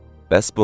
Bəs bunun?